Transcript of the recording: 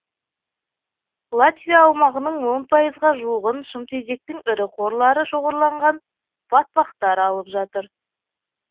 латвия аумағының он пайызға жуығын шымтезектің ірі қорлары шоғырланған батпақтар алып жатыр